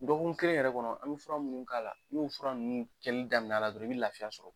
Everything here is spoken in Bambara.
Dɔɔkun kelen yɛrɛ kɔnɔ an bɛ fura minnu k'a la n'o fura nunnu kɛli damin'a la dɔrɔn i bi lafiya sɔrɔ.